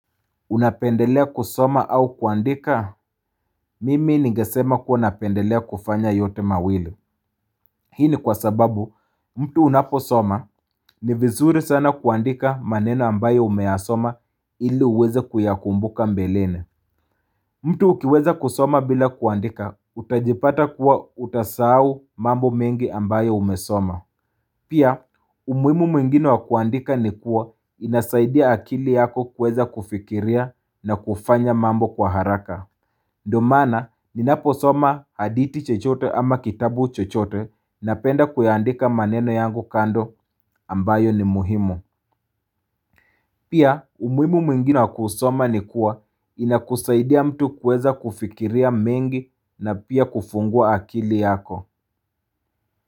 Unapendelea kusoma au kuandika? Mimi ningesema kuwa napendelea kufanya yote mawili. Hii ni kwa sababu, mtu unapo soma, ni vizuri sana kuandika maneno ambayo umeyasoma ili uweze kuyakumbuka mbeleni. Mtu ukiweza kusoma bila kuandika, utajipata kuwa utasau mambo mengi ambayo umesoma. Pia, umuhimu mwingine wakuandika ni kuwa inasaidia akili yako kweza kufikiria na kufanya mambo kwa haraka. Domana, ninaposoma haditi chochote ama kitabu chochote na penda kuyandika maneno yangu kando ambayo ni muhimu. Pia, umuhimu mwingine wakuusoma ni kuwa inakusaidia mtu kueza kufikiria mengi na pia kufungua akili yako.